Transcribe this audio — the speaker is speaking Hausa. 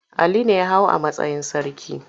Ali ne ya hau a matsayin sarki.